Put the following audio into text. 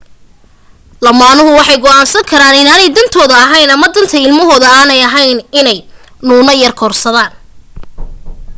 lamaanuhu waxay go'aansan karaan inaanay dantoodu ahayn ama danta ilmahooda aanay ahayn inay nuune korsadaan